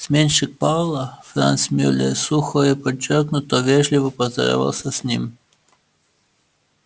сменщик пауэлла франц мюллер сухо и подчёркнуто вежливо поздоровался с ним